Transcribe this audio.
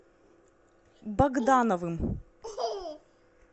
богдановым